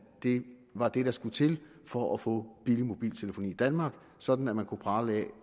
det var det der skulle til for at få billig mobiltelefoni i danmark sådan at man kunne prale af